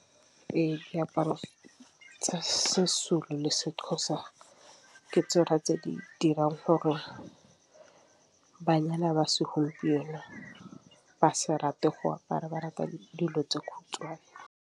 Ee, diaparo tsa se-Zulu le se-Xhosa ke tsona tse di dirang gore banyana ba se gompieno ba se rate go apara ba rata dilo tsa khutšhwane.